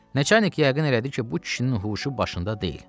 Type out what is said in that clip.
Nəçərnik yəqin elədi ki, bu kişinin huşu başında deyil.